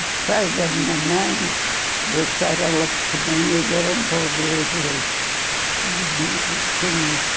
Os pais da minha mãe deixaram ela pequeninha e vieram para o Brasil. Eles tinham